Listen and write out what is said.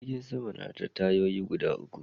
Jirgin Sama na da tayoyi gida uku